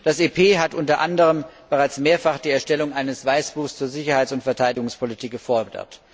Das EP hat unter anderem bereits mehrfach die Erstellung eines Weißbuchs zur Sicherheits und Verteidigungspolitik gefordert.